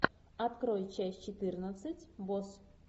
открой часть четырнадцать босс